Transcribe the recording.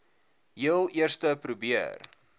heel eerste probeer